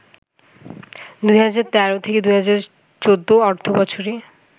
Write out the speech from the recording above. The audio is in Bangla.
২০১৩-১৪ অর্থবছরে